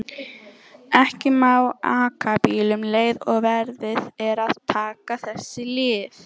Ekki má aka bíl um leið og verið er að taka þessi lyf.